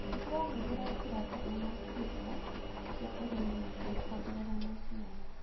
Tũrahũthĩra njĩra njega makĩria cia ũrĩmi nĩguo kuongerera maciaro.